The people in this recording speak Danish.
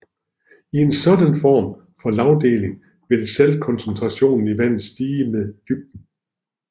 I en sådan form for lagdeling vil saltkoncentrationen i vandet stige med dybden